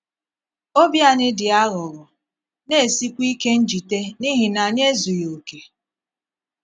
Òbí anyị dị aghụghọ, na - esíkwa íké njìté n’ihi na anyị ezùghị okè.